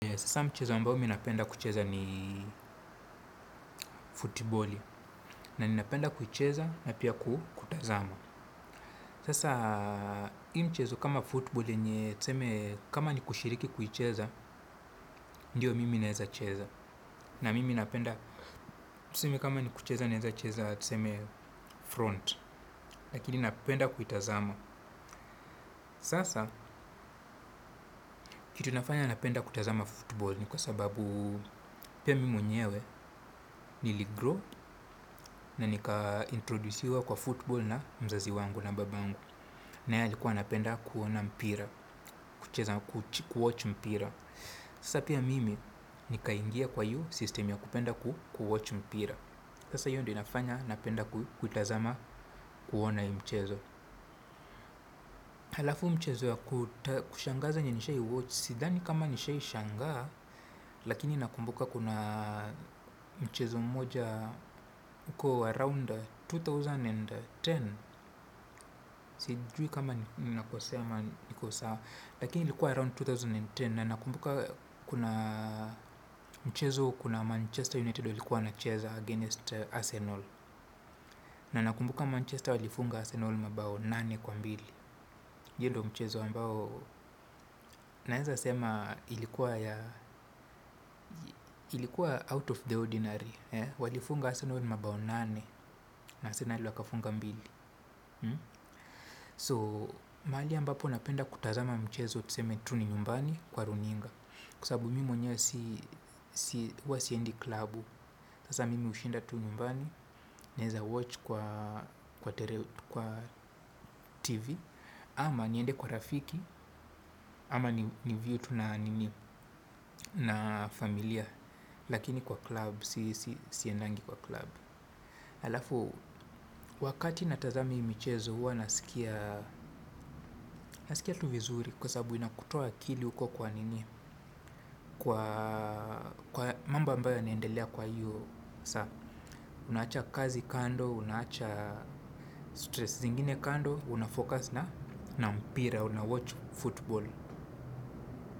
Sasa mchezo ambao mi napenda kucheza ni futiboli. Na ninapenda kucheza na pia kutazama. Sasa hii mchezo kama futiboli yenye tuseme kama ni kushiriki kuicheza ndiyo mimi naeza cheza na mimi napenda. Tuseme kama ni kucheza naeza cheza tuseme front. Lakini napenda kuitazama. Sasa kitu inafanya napenda kutazama futiboli ni kwa sababu pia mimi mwenyewe niligrow. Na nika introdusiwa kwa football na mzazi wangu na babangu. Naye alikuwa anapenda kuona mpira. Kucheza kuwatch mpira. Sasa pia mimi nikaingia kwa hiyo system ya kupenda kuwatch mpira. Sasa hiyo ndo inafanya napenda kuitazama kuona hii mchezo. Halafu mchezo ya kushangaza yenye nishai watch. Sidhani kama nishai shangaa. Lakini nakumbuka kuna mchezo mmoja. Uko around elfu mbili na kumi. Sijui kama ninakosea ama niko sawa. Lakini ilikuwa around elfu mbili na kumi. Na nakumbuka. Mchezo kuna Manchester United walikuwa wanacheza against Arsenal. Na nakumbuka Manchester Walifunga Arsenal mabao nane kwa mbili. Hiyo ndo mchezo ambao naeza sema ilikuwa Out of the ordinary. Walifunga Arsenal mabao nane. Na arsenali wakafunga mbili So, mahali ambapo napenda kutazama mchezo tuseme tu ni nyumbani kwa runinga. Kwa sababu mimi mwenyewe si, huwa siendi klabu. Sasa mimi hushinda tu nyumbani, naeza watch kwa TV. Ama niende kwa rafiki, ama niview tu na familia. Lakini kwa klab, siendangi kwa klab. Halafu, wakati natazamahii michezo huwa nasikia tu vizuri kwa sababu inakutoa akili huko kwa nini? Kwa mambo ambayo yanaendelea kwa hiyo saa. Unaacha kazi kando, unaacha stress zingine kando, unafocus na na mpira, unawatch football.